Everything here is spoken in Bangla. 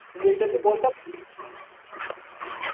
কিন্তু এইটা তু বলতে পারবি